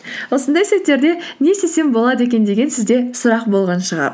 осындай сәттерде не істесем болады екен деген сізде сұрақ болған шығар